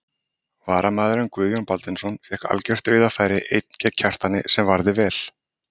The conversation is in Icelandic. Varamaðurinn Guðjón Baldvinsson fékk algjört dauðafæri einn gegn Kjartani sem varði vel.